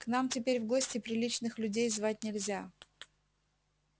к нам теперь в гости приличных людей звать нельзя